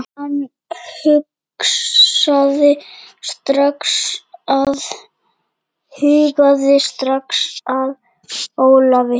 Hann hugaði strax að Ólafi.